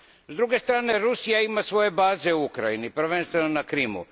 S druge strane, Rusija ima svoje baze u Ukrajini, prvenstveno na Krimu.